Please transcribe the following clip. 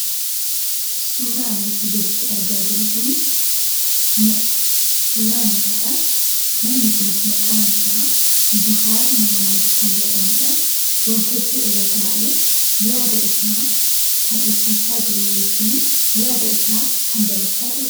Suuraan asii gaditti argaa jirru kun suuraa namaadha. Namni kunis maqaan isaa Jawaar Mohaammad kan jedhamudha. Waltajjii irra taa'ee yaada isaa kan ibsachaa jiru yookaan yaada isaa kan dabarfachaa jirudha.